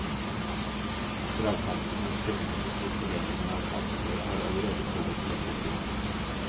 Dragkampen om premissene for fordelingen av ansvaret har allerede pågått i lengre tid.